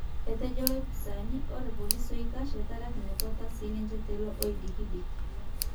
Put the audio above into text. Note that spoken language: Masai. Ejoito lopisani ore polisi oikash etaraki metwata sininje tilo odikidiki.